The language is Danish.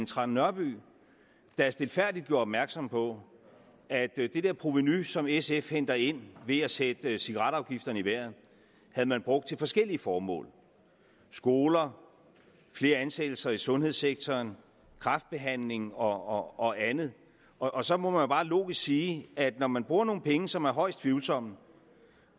trane nørby der stilfærdigt gjorde opmærksom på at det provenu som sf henter ind ved at sætte cigaretafgifterne i vejret havde man brugt til forskellige formål skoler flere ansættelser i sundhedssektoren kræftbehandling og og andet og så må jeg bare logisk sige at man bruger nogle penge som er højst tvivlsomme